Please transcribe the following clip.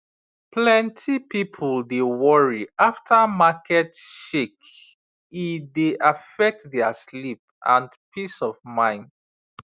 plenty people dey worry after market shake e dey affect their sleep and peace of mind